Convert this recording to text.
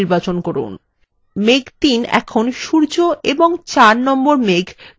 মেঘ ৩ এখন সূর্য এবং মেঘ ৪ এর দুটোরই পিছনে চলে গেছে